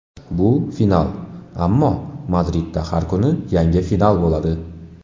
Bu final, ammo Madridda har kuni yangi final bo‘ladi.